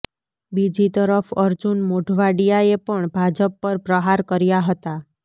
બીજી તરફ અર્જુન મોઢવાડિયાએ પણ ભાજપ પર પ્રહાર કર્યા હતા